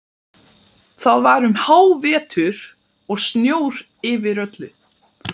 Það var um hávetur og snjór yfir öllu.